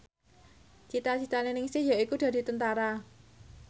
cita citane Ningsih yaiku dadi Tentara